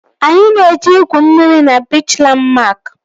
Anyị na-eje igwu mmiri na biichi Landmark